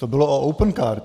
To bylo o Opencard.